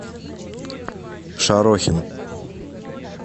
шарохин